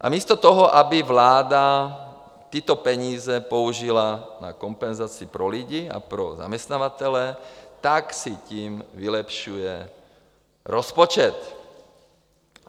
A místo toho, aby vláda tyto peníze použila na kompenzaci pro lidi a pro zaměstnavatele, tak si tím vylepšuje rozpočet.